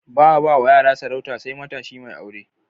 Ba'a bawa yara sarauta sai matashi mai aure.